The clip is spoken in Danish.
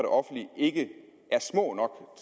offentlige ikke er små